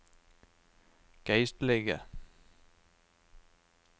geistlige